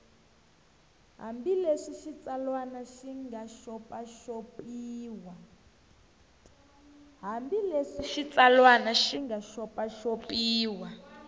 hambileswi xitsalwana xi nga xopaxopiwa